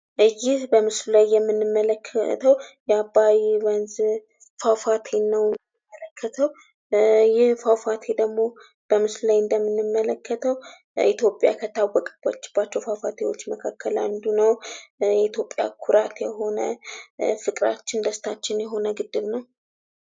ይህ በምስሉ ላይ የምንመለከተው የአባይ ወንዝ ፏፏቴን ነው የምንመለከተው ይህ ፏፏቴ በምስሉ ላይ እንደምንመለከተው ደግሞ ኢትዮጵያ ከታወቀችባቸው ፏፏቴዎች መካከል አንዱ ነው። የኢትዮጵያ ኩራት የሆነ፤ ፍቅራችን፣ ደስታችን የሆነ ግድብ ነው።